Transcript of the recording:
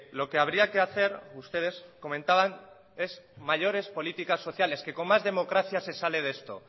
lo que habría que hacer ustedes comentaban es mayores políticas sociales que con más democracia se sale de esto